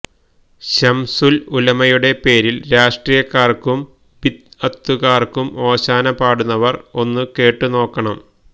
ശംസുല്ഉലമയുടെ പേരില് രാഷ്ട്രീയക്കാര്ക്കും ബിദ്അത്തുകാര്ക്കും ഓശാന പാടുന്നവര് ഒന്നു കേട്ടുനോക്കണം